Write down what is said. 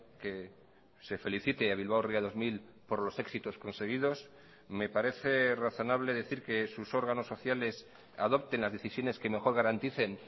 que se felicite a bilbao ría dos mil por los éxitos conseguidos me parece razonable decir que sus órganos sociales adopten las decisiones que mejor garanticen